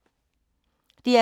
DR K